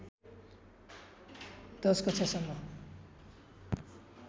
१० कक्षासम्म